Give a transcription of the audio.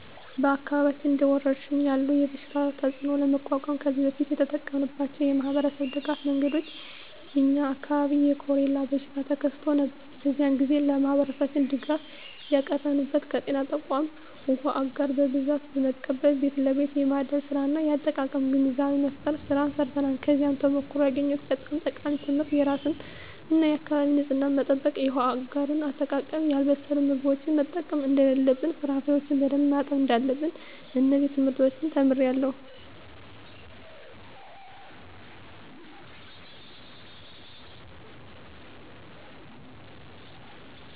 በአካባቢያችን እንደ ወረርሽኝ ያለ የበሽታ ተፅእኖ ለመቋቋም ከዚህ በፊት የተጠቀምንባቸው የማኅበረሰብ ድጋፍ መንገዶች የ የኛ አካባቢ የኮሬላ በሽታ ተከስቶ ነበር። በዚያ ግዜ ለማህበረሠባችን ድጋፍ ያቀረብንበት ከጤና ተቋማት ዉሃ አጋር በብዛት በመቀበል ቤት ለቤት የማደል ስራ እና የአጠቃቀም ግንዛቤ መፍጠር ስራ ሰርተናል። ከዚያ ተሞክሮ ያገኘሁት በጣም ጠቃሚ ትምህርት የራስን እና የአካቢን ንፅህና መጠበቅ፣ የውሃ አጋር አጠቃቀም፣ ያልበሰሉ ምግቦችን መጠቀም እደለለብን፣ ፍራፍሬዎችን በደንብ ማጠብ እዳለብን። እነዚን ትምህርቶች ተምሬአለሁ።